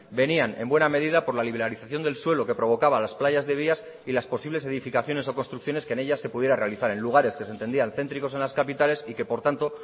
venían en buena medida por la liberalización del suela que provocaba las playas de vías y las posibles edificaciones o construcciones que en ellas se pudiera realizar en lugares que se entendían céntricos en las capitales y que por tanto